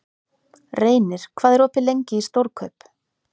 Reynir, hvað er opið lengi í Stórkaup?